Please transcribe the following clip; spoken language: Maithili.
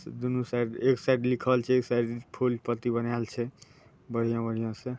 दुनु साइड एक साइड लिखल छै एक साइड फूल पत्ती बनायल छै बढ़िया-बढ़िया से ----